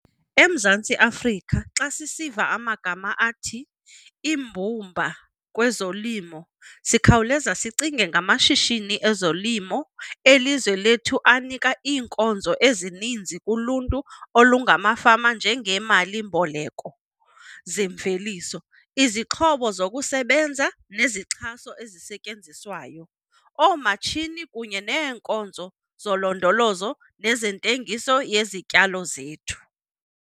EMzantsi Afrika xa sisiva amagama athi "iimbumba kwezolimo", sikhawuleza sicinge ngamashishini ezolimo elizwe lethu anika iinkonzo ezininzi kuluntu olungamafama njengeemali-mboleko zeemveliso, izixhobo zokusebenza neezixhaso ezisetyenziswayo, oomatshini kunye neenkonzo zolondolozo nezentengiso yezityalo zethu.